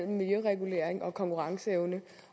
miljøregulering og konkurrenceevne